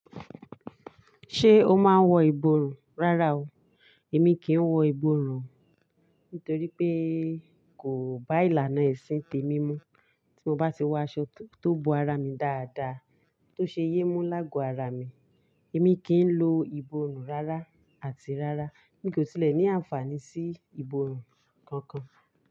Ṣé o máa ń wọ ìborùn? Rárá o, èmi kì í wọ ìborùn, nítorí pé kò bá ìlànà ẹ̀sìn tèmi mu. Tí mo bá ti wọ aṣọ tó bo ara mi dáadáa, tó ṣe yémú lágo ara mi, èmi kì í lo ìborùn rárá àti rárá. Mi kò tilẹ̀ ní àǹfààní sí ìborùn kankan.